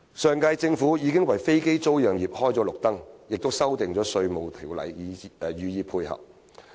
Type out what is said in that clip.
上屆政府已為飛機租賃業開綠燈，並修訂《稅務條例》予以配合。